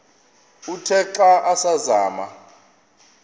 uthe xa asazama